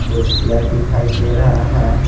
कुर्सिया दिखाई दे रहा है।